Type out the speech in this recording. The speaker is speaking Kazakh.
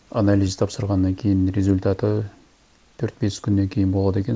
анализ тапсырғаннан кейін результаты төрт бес күннен кейін болады екен